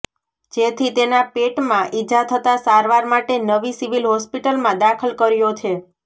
જેથી તેના પેટમાં ઇજા થતા સારવાર માટે નવી સિવિલ હોસ્પિટલમાં દાખલ કર્યો છે